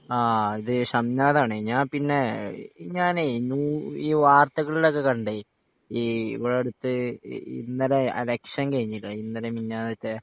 ആഹ് ഇത് ഷംനാദ് ആണ് ഞാൻ പിന്നെ ഞാനേ ഈ വാർത്തകളിൽ ഒക്കെ കണ്ടേ ഈ ഇവിടെ അടുത്ത് ഇന്നലെ ഇലക്ഷൻ കഴിഞ്ഞിക്കണ് ഇന്നലെ മിഞ്ഞാന്നത്തെ